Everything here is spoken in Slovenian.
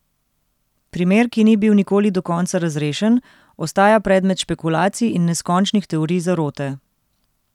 Primer, ki ni bil nikoli do konca razrešen, ostaja predmet špekulacij in neskončnih teorij zarote.